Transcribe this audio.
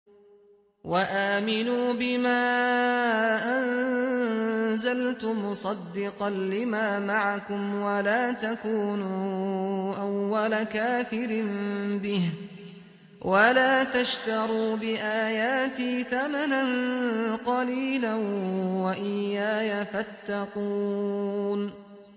وَآمِنُوا بِمَا أَنزَلْتُ مُصَدِّقًا لِّمَا مَعَكُمْ وَلَا تَكُونُوا أَوَّلَ كَافِرٍ بِهِ ۖ وَلَا تَشْتَرُوا بِآيَاتِي ثَمَنًا قَلِيلًا وَإِيَّايَ فَاتَّقُونِ